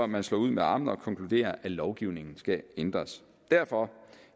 man slår ud med armene og konkluderer at lovgivningen skal ændres derfor